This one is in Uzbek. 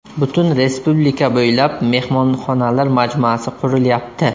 Butun respublika bo‘ylab mehmonxonalar majmuasi qurilyapti.